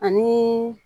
Ani